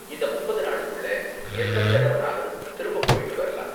இந்த முப்பது நாளுக்குள்ள எத்தன தடவனாலும் திரும்ப போய்ட்டு வரலாம்.